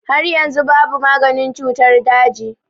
Har yanzu babu maganin cutar daji.